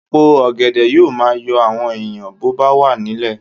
Èpo ọ̀gẹ̀dẹ̀ yóò máa yọ àwọn èèyàn bó bá wà nílẹ̀